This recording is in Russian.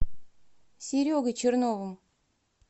серегой черновым